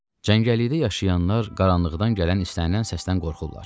Cəngəllikdə yaşayanlar qaranlıqdan gələn istənilən səsdən qorxurlar.